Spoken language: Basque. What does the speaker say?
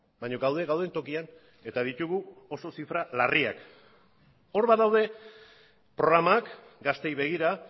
baina gaude gauden tokian eta ditugu oso zifra larriak hor badaude programak gazteei begira